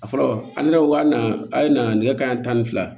A fɔlɔ an yɛrɛ ko k'an na a ye na nɛgɛ kanɲɛ tan ni fila